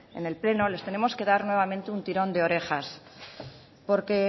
en el pleno les tenemos que dar nuevamente un tirón de orejas porque